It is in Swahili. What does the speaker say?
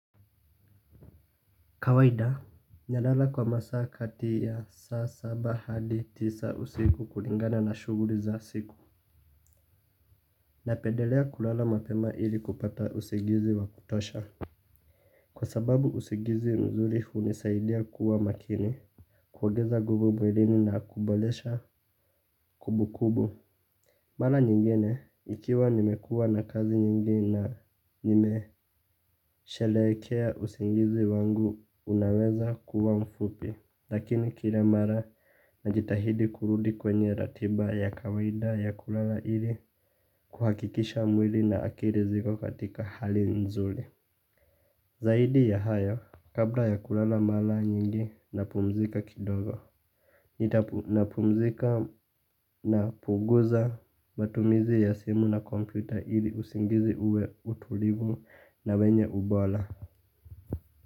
Kawaida nalala kwa masaa kati ya saa saba hadi tisa usiku kulingana na shughuli za siku. Napedelea kulala mapema ili kupata usingizi wa kutosha. Kwa sababu usingizi mzuri hunisaidia kuwa makini kuongeza nguvu mwilini na kuboresha kumbukumbu. Mara nyingine ikiwa nimekuwa na kazi nyingi na nimesherekea usingizi wangu unaweza kuwa mfupi lakini kila mara na jitahidi kurudi kwenye ratiba ya kawaida ya kulala ili kuhakikisha mwili na akili ziko katika hali nzuri. Zaidi ya hayo kabla ya kulala mara nyingi napumzika kidogo. Nitapumzika na punguza matumizi ya simu na kompyuta ili usingizi uwe utulivu na wenye ubora.